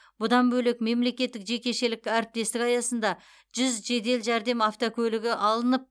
бұдан бөлек мемлекеттік жекешелік әріптестік аясында жүз жедел жәрдем автокөлігі алынып